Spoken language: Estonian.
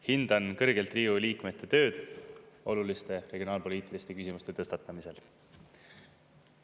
Hindan kõrgelt Riigikogu liikmete tööd oluliste regionaalpoliitiliste küsimuste tõstatamisel.